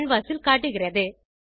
canvas ல் காட்டுகிறது